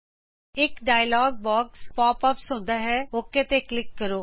ਇਕ dialog box pop ups ਹੁੰਦਾ ਹੈ ਓਕ ਤੇ ਕਲਿਕ ਕਰੋ